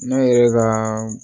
Ne yɛrɛ ka